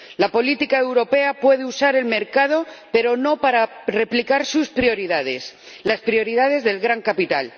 La política europea puede usar el mercado, pero no para replicar sus prioridades, las prioridades del gran capital.